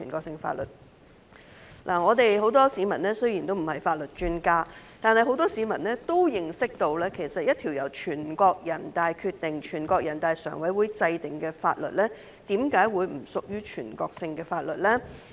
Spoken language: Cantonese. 雖然很多市民不是法律專家，但也認識到一項由全國人大常委會制定的法律，為何不屬於全國性的法律？